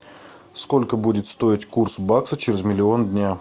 сколько будет стоить курс бакса через миллион дня